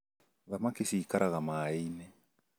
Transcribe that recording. Thamaki cĩikaraga maĩ-inĩ.